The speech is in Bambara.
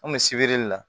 An kun bɛ sibiri la